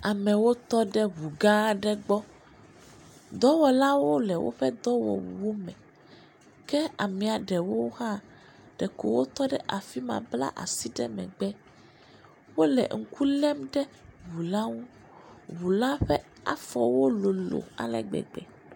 Amewo tɔɖe ʋu gã aɖe gbɔ, dɔwɔlawo le wo ƒe dɔwɔwu me, ke amiaɖewo hã ɖe ko wo tɔɖe afima bla asi ɖe megbe, wole ŋku lem ɖe ʋu la ŋu, ʋula ƒe afɔwo lolo ale gbegbe.